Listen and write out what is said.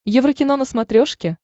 еврокино на смотрешке